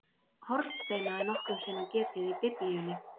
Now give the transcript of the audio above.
Hornsteina er nokkrum sinnum getið í Biblíunni.